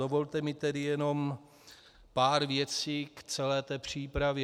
Dovolte mi tedy jenom pár věcí k té celé přípravě.